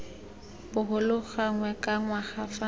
bogolo gangwe ka ngwaga fa